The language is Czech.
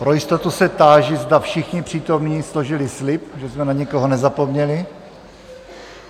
Pro jistotu se táži, zda všichni přítomní složili slib, že jsme na nikoho nezapomněli?